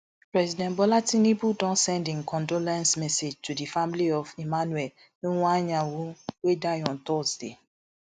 president bola tinubu don send im condolence message to di family of emmanuel iwuanyanwu wey die on thursday